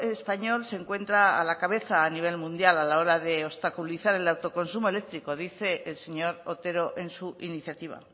español se encuentra a la cabeza a nivel mundial a la hora de obstaculizar el autoconsumo eléctrico dice el señor otero en su iniciativa